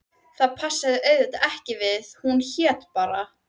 Það passaði auðvitað ekki því hún hét bara